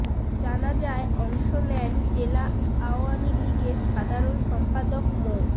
জানাজায় অংশ নেন জেলা আওয়ামী লীগের সাধারণ সম্পাদক মো